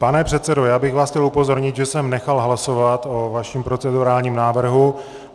Pane předsedo, já bych vás chtěl upozornit, že jsem nechal hlasovat o vašem procedurálním návrhu.